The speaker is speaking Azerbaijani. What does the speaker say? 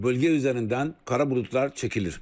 Bölgə üzərindən qara buludlar çəkilir.